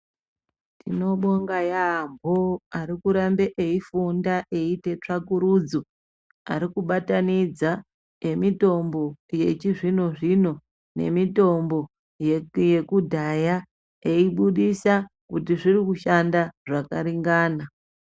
Tinovonga yaambo ari kuramba eifunda eiite tsvakurudzo ari kubatanidza emitombo yechizvino zvino emitombo yekudhaya eibudisa kuti zviri kushanda zvakaringana.